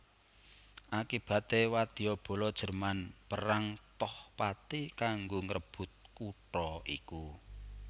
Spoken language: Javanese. Akibaté wadyabala Jerman perang toh pati kanggo ngrebut kutha iku